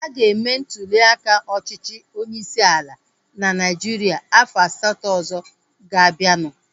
A ga-eme ntuliaka ọchịchị onyeisi ala na Naijiria afọ asatọ ọzọ ga-abianu